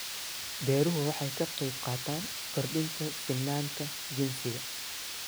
Beeruhu waxay ka qaybqaataan kordhinta sinnaanta jinsiga.